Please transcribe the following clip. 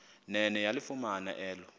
nene yalifumana elo